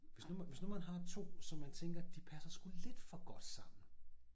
Hvis nu hvis nu man har 2 som man tænker de passer sgu lidt for godt sammen